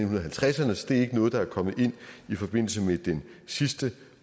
halvtredserne så det er ikke noget der er kommet ind i forbindelse med den sidste